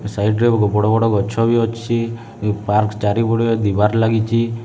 Side ରେ ବହୁତ ବଡ ବଡ ଗଛ ବି ଅଛି ଏ ପାର୍କ ଚାରିପଟେ ଦିବାର ଲାଗିଛି।